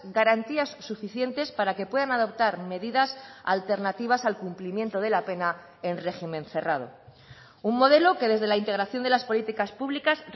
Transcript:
garantías suficientes para que puedan adoptar medidas alternativas al cumplimiento de la pena en régimen cerrado un modelo que desde la integración de las políticas públicas